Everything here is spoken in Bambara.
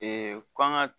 k'an ga